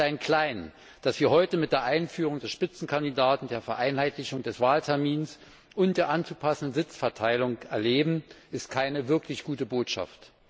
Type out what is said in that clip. Das Kleinklein, das wir heute mit der Einführung des Spitzenkandidaten, der Vereinheitlichung des Wahltermins und der anzupassenden Sitzverteilung erleben, ist keine wirklich gute Botschaft.